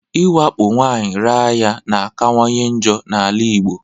Iwakpo nwaanyị raa ya na akawanye njọ na-ala Igbo.